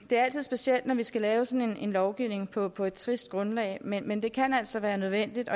er altid specielt når vi skal lave sådan en lovgivning på på et trist grundlag men men det kan altså være nødvendigt